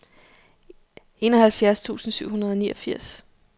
enoghalvfjerds tusind syv hundrede og niogfirs